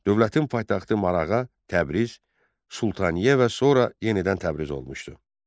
Dövlətin paytaxtı Marağa, Təbriz, Sultaniyə və sonra yenidən Təbriz olmuşdu.